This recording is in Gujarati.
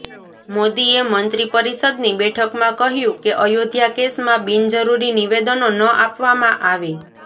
મોદીએ મંત્રી પરિષદની બેઠકમાં કહ્યું કે અયોધ્યા કેસમાં બિનજરૂરી નિવેદનો ન આપવામાં આવે